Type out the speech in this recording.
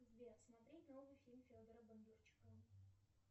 сбер смотреть новый фильм федора бондарчука